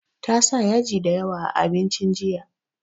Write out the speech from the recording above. Ta sa yaji da yawa a abincin jiya